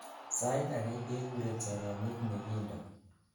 sait agei kekuren soromyet nekiindo